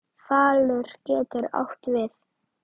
Falur getur átt við